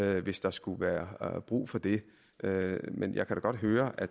hvis der skulle være brug for det men jeg kan da godt høre at